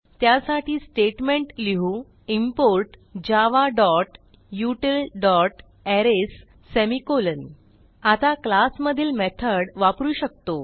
त्यासाठी स्टेटमेंट लिहू इम्पोर्ट javautilअरेज सेमिकोलॉन आता क्लास मधील मेथड वापरू शकतो